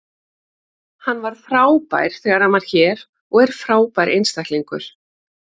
Hann var frábær þegar hann var hér og er frábær einstaklingur.